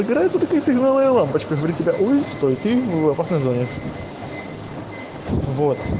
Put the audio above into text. сигнальная лампочка стоит на звонок